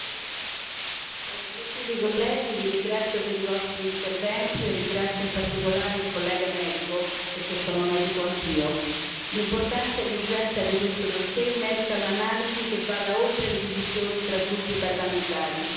Signor Presidente, onorevoli colleghi, vi ringrazio per i vostri interventi e ringrazio in particolare il collega medico perché sono medico anch'io. L'importanza e l'urgenza di questo dossier merita un'analisi che vada oltre le divisioni tra gruppi parlamentari.